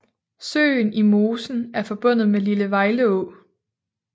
Søen i mosen er forbundet med Lille Vejleå